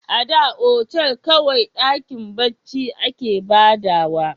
A da otal kawai dakin barci a ke ba da wa